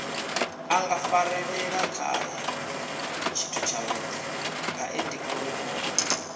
a ngafarelelakhae tshithutshavhudi ngaendiuri o